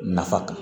Nafa kan